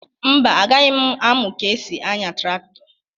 Mba, agaghị m amụ ka e si anya traktọ.